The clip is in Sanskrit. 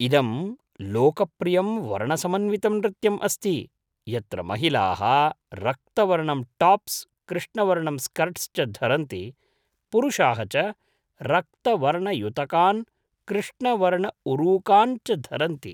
इदं लोकप्रियं वर्णसमन्वितं नृत्यम् अस्ति, यत्र महिलाः रक्तवर्णं टाप्स् कृष्णवर्णं स्कर्ट्स् च धरन्ति, पुरुषाः च रक्तवर्णयुतकान् कृष्णवर्णऊरुकान् च धरन्ति।